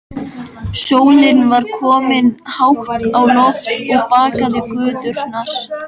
Sólin var komin hátt á loft og bakaði göturnar.